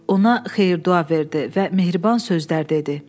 Ona xeyir-dua verdi və mehriban sözlər dedi.